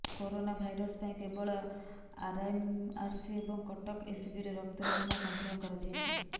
corona virus ପାଇଁ କେବଳ RMRC ଏବଂ କଟକ ଏସବିରେ ରକ୍ତ ନମୁନା ସଂଗ୍ରହ କରାଯାଇଛି